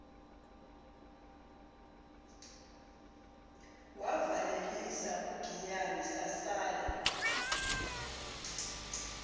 wavalelisa ugiyani sasala